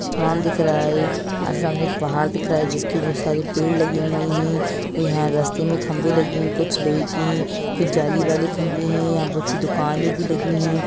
आसमान दिख रहा है और सामने एक पहाड़ दिख रहा है जिसके बहुत सारे पेड़ लगे हुए है और यहाँ रास्ते मे खंबे लगे हुए है कुछ लोहे की है कुछ जाली वाली खंबे है यहाँ बहुत सी दुकाने भी लगी हुई है।